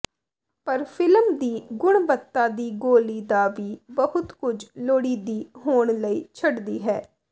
ਪਰ ਫਿਲਮ ਦੀ ਗੁਣਵੱਤਾ ਦੀ ਗੋਲੀ ਦਾ ਵੀ ਬਹੁਤ ਕੁਝ ਲੋੜੀਦੀ ਹੋਣ ਲਈ ਛੱਡਦੀ ਹੈ